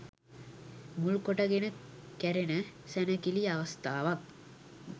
මුල් කොට ගෙන කැරෙන සැණකෙළි අවස්ථාවක්